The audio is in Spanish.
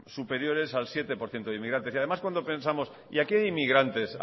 superiores al siete por ciento de inmigrantes y además cuando pensamos y a qué inmigrantes